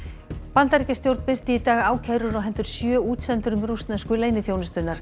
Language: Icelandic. Bandaríkjastjórn birti í dag ákærur á hendur sjö útsendurum rússnesku leyniþjónustunnar